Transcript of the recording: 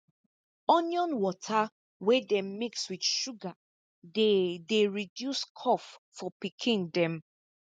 onion water wey dem mix with sugar dey dey reduce cough for pikin dem